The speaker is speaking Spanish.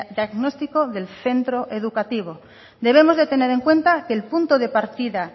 diagnóstico del centro educativo debemos de tener en cuenta que el punto de partida